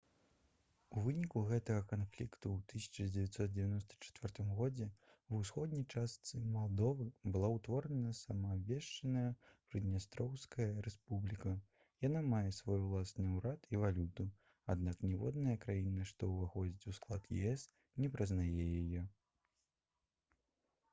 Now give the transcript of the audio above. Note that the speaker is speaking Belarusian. у выніку гэтага канфлікту ў 1994 г ва ўсходняй частцы малдовы была ўтворана самаабвешчаная прыднястроўская рэспубліка яна мае свой ўласны ўрад і валюту аднак ніводная краіна што ўваходзіць у склад ес не прызнае яе